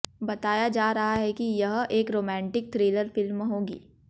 बताया जा रहा है कि यह एक रोमांटिक थ्रिलर फिल्म होगी